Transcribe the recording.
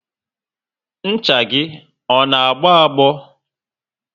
Ncha gị ọ na agbo agbo?